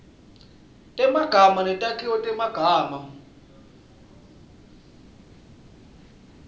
temagama netakhiwo temagama